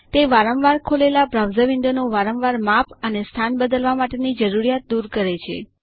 તે વારંવાર ખોલેલા બ્રાઉઝર વિન્ડો નું વારંવાર માપ અને સ્થાન બદલવા માટેની જરૂરિયાત દૂર કરે છે